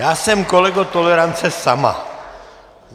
Já jsem, kolego, tolerance sama.